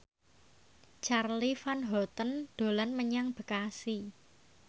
Charly Van Houten dolan menyang Bekasi